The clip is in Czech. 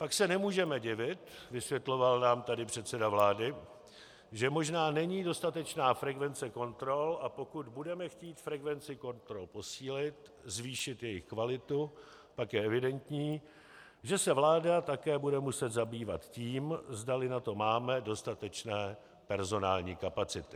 Pak se nemůžeme divit, vysvětloval nám tady předseda vlády, že možná není dostatečná frekvence kontrol, a pokud budeme chtít frekvenci kontrol posílit, zvýšit její kvalitu, pak je evidentní, že se vláda také bude muset zabývat tím, zdali na to máme dostatečné personální kapacity.